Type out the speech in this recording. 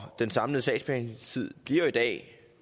den samlede sagsbehandlingstid bliver jo i dag